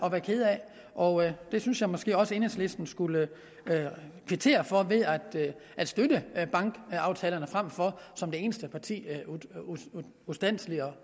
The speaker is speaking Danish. at være kede af og det synes jeg måske også at enhedslisten skulle kvittere for ved at støtte bankaftalerne frem for som det eneste parti ustandselig